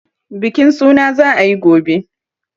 Bukin suna za a yi gobe.